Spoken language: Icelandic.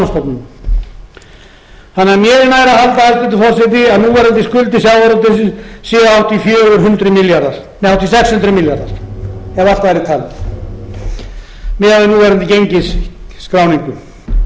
forseti að núverandi skuldir sjávarútvegsins séu hátt í sex hundruð milljarðar ef allt væri talið miðað við núverandi gengisskráningu skuldsetning útgerðarinnar hefur því verið